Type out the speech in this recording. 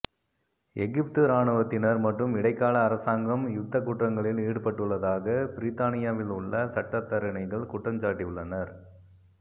எகிப்து இராணுவத்தினர் மற்றும் இடைக்கால அரசாங்கம் யுத்தக் குற்றங்களில் ஈடுபட்டுள்ளதாக பிரித்தானியாவிலுள்ள சட்டத்தரணிகள் குற்றஞ்சாட்டியுள்ளனர்